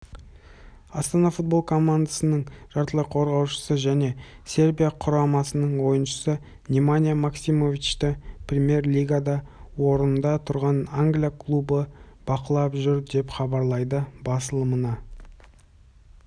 астана футбол командасының жартылай қорғаушысы және сербия құрамасының ойыншысы неманья максимовичті премьер-лигада орында тұрған англия клубы бақылап жүр деп хабарлайды басылымына